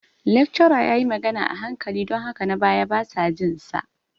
Lecturer ya yi magana a hankali don haka na baya basa jin sa.